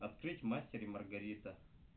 открыть мастер и маргарита